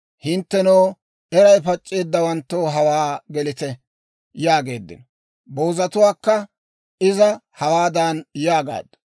«Hinttenoo, eray pac'c'eeddawanttoo hawaa gelite!» yaageeddino. Boozatuwaakka Iza hawaadan yaagaaddu;